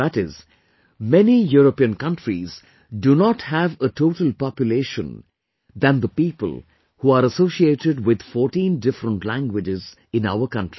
That is, many European countries do not have a total population than the people who are associated with 14 different languages in our country